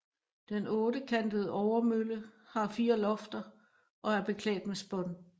Den ottekantede overmølle har fire lofter og er beklædt med spån